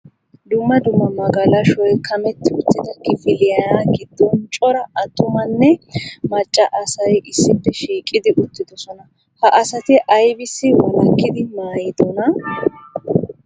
Dumma dumma magalashshoy kameti uttido kifiliya giddon cora attumamne macca asay issippe shiiqidi uttidoosona. Ha asati aybbissi walakkidi maayidona ?